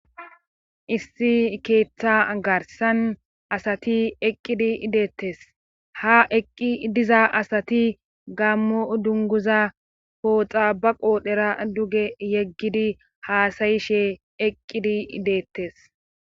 issi keeththa garssan asati eqqidi deettes ha eqqi diza asati gaammo dunguza pooxa ba qoodhera duge yeggidi haasayishe eqqidii deettes